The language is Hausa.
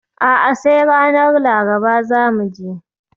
A'a, sai ranar Laraba za mu je